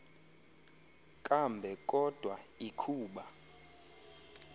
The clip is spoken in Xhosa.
kambe kodwa ikhuba